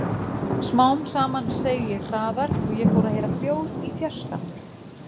Smám saman seig ég hraðar og ég fór að heyra hljóð í fjarska.